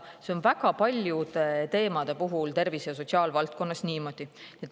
See on väga paljude teemade puhul tervise- ja sotsiaalvaldkonnas niimoodi.